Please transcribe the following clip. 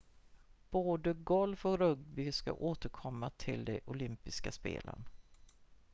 både golf och rugby ska återkomma till de olympiska spelen